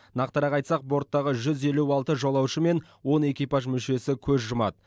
нақтырақ айтсақ борттағы жүз елу алты жолаушы мен он экипаж мүшесі көз жұмады